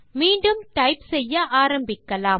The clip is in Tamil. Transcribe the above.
மீண்டும் டைப் செய்ய ஆரம்பிக்கலாம்